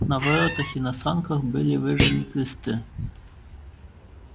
на воротах и на санках были выжжены кресты